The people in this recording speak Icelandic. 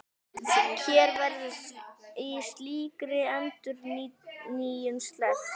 Hér verður því slíkri endurnýjun sleppt.